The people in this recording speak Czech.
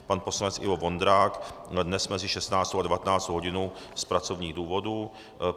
Pan poslanec Ivo Vondrák dnes mezi 16. a 19. hodinou z pracovních důvodů.